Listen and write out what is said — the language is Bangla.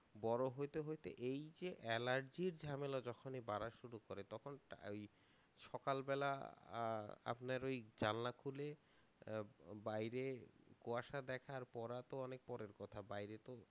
বড়ো হইতে হইতে এই যে allergy র ঝামেলা যখনই বারা শুরু করে তখন টা এই সকালবেলা আহ আপনার ওই জানলা খুলে আহ ব~ বাইরে কুয়াশা দেখা আর পড়া তো অনেক পরের কথা বাইরে তো